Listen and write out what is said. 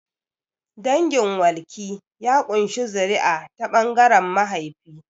Dangin walki ya ƙunshi zuri'a ta ɓangaren mahaifi.